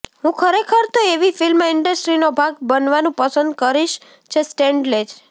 હું ખરેખર તો એવી ફિલ્મ ઈન્ડસ્ટ્રીનો ભાગ બનવાનું પસંદ કરીશ જે સ્ટેન્ડ લે